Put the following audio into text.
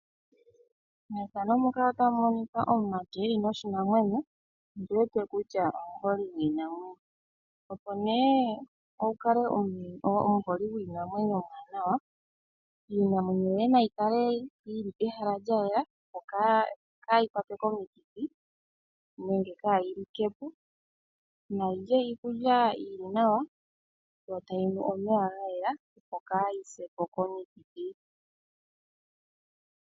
Omumati omuholi gwiinamwenyo oku li noshinamwenyo. Opo wu kale omuholi gwiinamwenyo omuwanawa, iinamwenyo yoye nayi kale pehala lya yela ,opo ka yi kwatwe komikithi nenge ka yi likepo, nayi lye iikulya yili nawa yo ta yi nu omeya gayela opo ka yi se po komikithi.